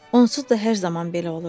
Onsuz da hər zaman belə olurdu.